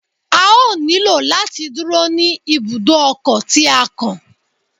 A ó nílò láti dúró ní ibùdó ọkọ̀ tí á kàn.